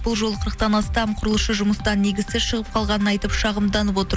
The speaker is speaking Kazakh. бұл жолы қырықтан астам құрылысшы жұмыстан негізсіз шығып қалғанын айтып шағымданып отыр